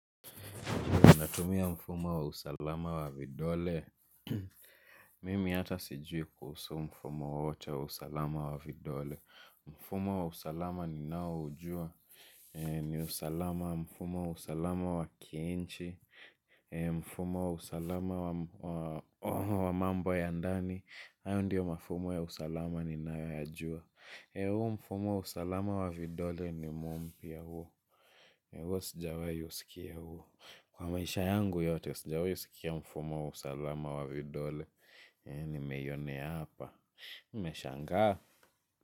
Natumia mfumo wa usalama wa vidole. Mimi hata sijui kuhusu mfumo wowote wa usalama wa vidole. Mfumo wa usalama ninaoujua. Ni usalama mfumo wa usalama wa kiinchi. Mfumo wa usalama wa mambo ya ndani. Hayo ndiyo mafumo ya usalama ninayo yajua. Huo mfumo usalama wa vidole nimeona pia huo. Huo sijawahi usikia huo. Kwa maisha yangu yote, sijawahi sikia mfumo wa usalama wa vidole. Nimeionea hapa. Nimeshangaa.